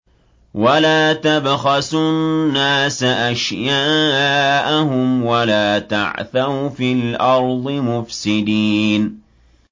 وَلَا تَبْخَسُوا النَّاسَ أَشْيَاءَهُمْ وَلَا تَعْثَوْا فِي الْأَرْضِ مُفْسِدِينَ